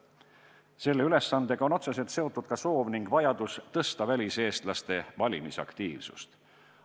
Selle ülesandega on otseselt seotud ka soov ning vajadus tõsta väliseestlaste valimisaktiivsust.